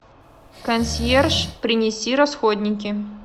консьерж принеси расходники